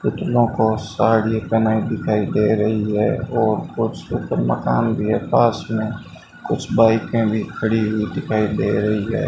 पुतलों को साड़ी पेहनाई दिखाई दे रही है और कुछ मकान के पास में कुछ बाईके भी खड़ी हुई दिखाई दे रही है।